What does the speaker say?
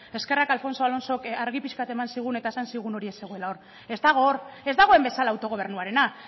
eskerrak alfonso alonsok argi pixka bat eman zigula eta esan zigula hori ez zegoela hor ez dago hor ez dagoen bezala autogobernuarena